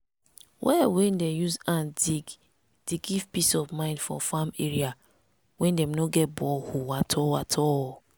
well wey dem use hand dig dey give peace of mind for farm area wey no get borehole at all at all.